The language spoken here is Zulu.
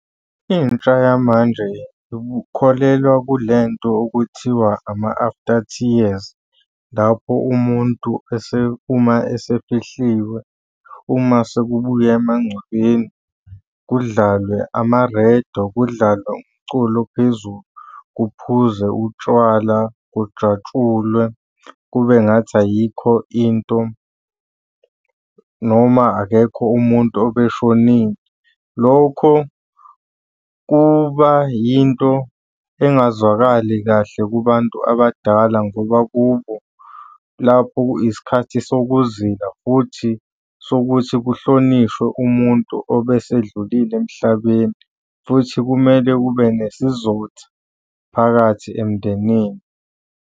Intsha yamanje ikholelwa kule nto okuthiwa ama-after tears, lapho umuntu uma esefihliwe, uma sekubuywa emangcwabeni, kudlalwe amarediyo, kudlalwe umculo ophezulu. Kuphuzwe utshwala, kujatshulwe kube ngathi ayikho into noma akekho umuntu obeshonile. Lokho kuba yinto engazwakali kahle kubantu abadala ngoba kubo lapho isikhathi sokuzila futhi sokuthi kuhlonishwe umuntu obesedlulile emhlabeni, futhi kumele kube nesizotha phakathi emndenini.